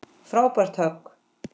Frábært högg.